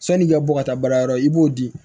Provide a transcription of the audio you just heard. San'i ka bɔ ka taa baarayɔrɔ i b'o di